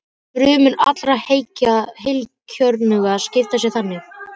Frumur allra heilkjörnunga skipta sér þannig.